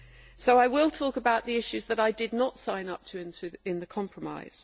So I will talk about the issues that I did not sign up to in the compromise.